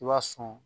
I b'a sɔn